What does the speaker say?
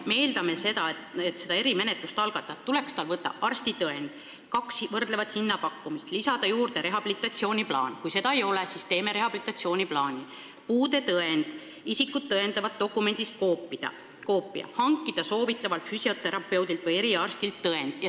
Me eeldame seda, et erimenetluse algatamiseks tuleks tal võtta arstitõend, kaks võrdlevat hinnapakkumist, lisada juurde rehabilitatsiooniplaan – kui seda ei ole, siis teeme rehabilitatsiooniplaani –, puudetõend ja isikut tõendava dokumendi koopia ning hankida soovitavalt füsioterapeudilt või eriarstilt tõend.